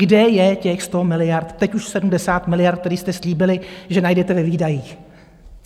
Kde je těch 100 miliard, teď už 70 miliard, které jste slíbili, že najdete ve výdajích?